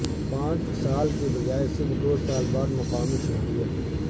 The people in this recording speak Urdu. پانچ سال کے بجائے صرف دو سال بعد مقامی شہریت